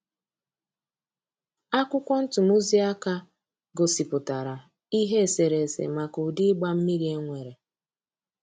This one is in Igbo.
Akwụkwọ ntumụziaka gosipụtara ihe eserese maka ụdị ịgba mmiri e nwere.